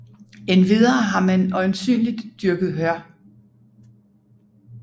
Endvidere har man øjensynligt dyrket hør